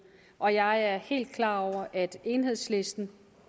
og jeg er helt klar over at enhedslisten